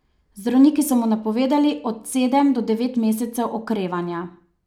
Zdravniki so mu napovedali od sedem do devet mesecev okrevanja.